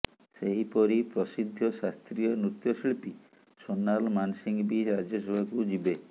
ସେହିପରି ପ୍ରସିଦ୍ଧ ଶାସ୍ତ୍ରୀୟ ନୃତ୍ୟଶିଳ୍ପୀ ସୋନାଲ ମାନସିଂହ ବି ରାଜ୍ୟସଭାକୁ ଯିବେ